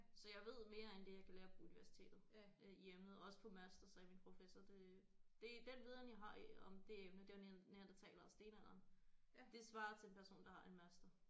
Så jeg ved mere end det jeg kan lære på universitetet øh i og med også på master sagde min professor det det den viden jeg har i om det emne den neandertalere og stenalderen det svarer til en person der har en master